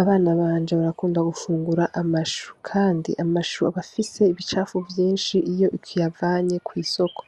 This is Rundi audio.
Abana banje barakunda gufungura amashu kandi amashu aba afise ibicafu vyishi iyo ukiyavanye ku isoko